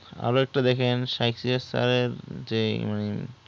আর একটা দেখেন যে